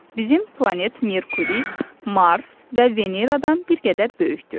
Bizim planet Merkuri, Mars və Veneradan bir qədər böyükdür.